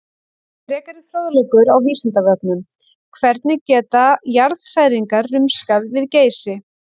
Frekari fróðleikur á Vísindavefnum: Hvernig geta jarðhræringar rumskað við Geysi?